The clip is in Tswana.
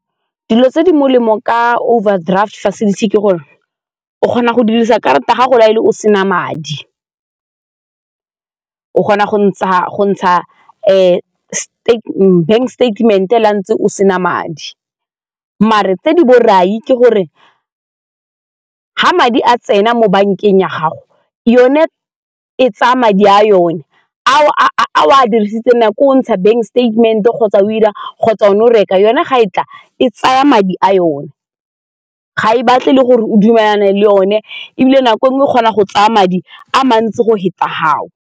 Dilo tse di molemo ka overdraft facility ke gore o kgona go dirisa karata gago na le o sena madi o kgona go ntsha bank statement-e le fa ntse o sena madi mare tse di borai ke gore ga madi a tsena mo bankeng ya gago yone e tsaya madi a yone a dirisitseng nako o ntsha bank statemente kgotsa o 'ira kgotsa o ne o reka, yone ga e tla e tsaya madi a yone ga e batle le gore o dumelana e le yone ebile nako nngwe o kgona go tsaya madi a mantsi go feta fao.